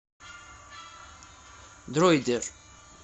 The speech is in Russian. дроидер